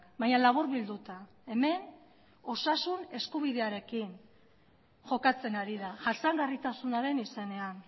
baina laburbilduta hemen osasun eskubidearekin jokatzen ari da jasangarritasunaren izenean